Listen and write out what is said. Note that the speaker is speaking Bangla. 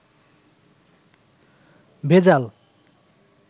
ভেজাল